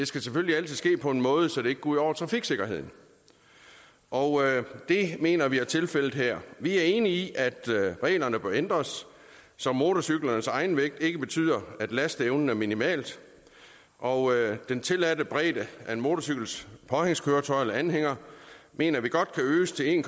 skal selvfølgelig altid ske på en måde så det ikke går ud over trafiksikkerheden og det mener vi er tilfældet her vi er enige i at reglerne bør ændres så motorcyklens egenvægt ikke betyder at lasteevnen er minimal og den tilladte bredde af en motorcykels påhængskøretøj eller anhænger mener vi godt kan øges til en